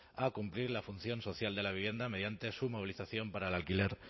a cumplir la función social de la vivienda mediante su movilización para el alquiler